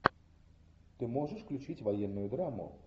ты можешь включить военную драму